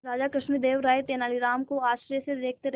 राजा कृष्णदेव राय तेनालीराम को आश्चर्य से देखते रहे